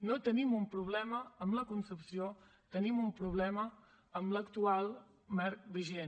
no tenim un problema amb la concepció tenim un problema amb l’actual marc vigent